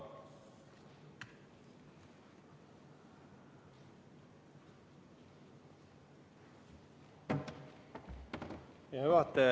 Hea juhataja!